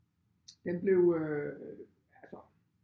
Den blev øh altså